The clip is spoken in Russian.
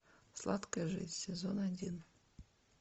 сладкая жизнь сезон один